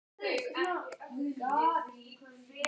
Kristján: Varstu hér inni í húsinu þegar þetta gerðist?